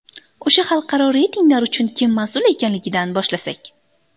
O‘sha xalqaro reytinglar uchun kim mas’ul ekanligidan boshlasak.